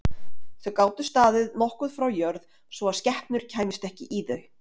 Þau gátu staðið nokkuð frá jörð svo að skepnur kæmust ekki í þau.